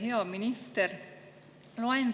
Hea minister!